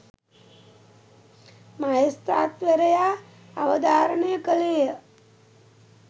මහේස්ත්‍රාත්වරයා අවධාරණය කළේ ය.